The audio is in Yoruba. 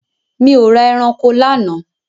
Mi ò ra eranko lánàá.